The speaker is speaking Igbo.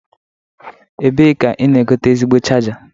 Ebe ka ị na-egote ezigbo chaja?